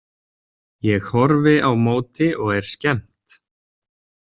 Ég horfi á móti og er skemmt.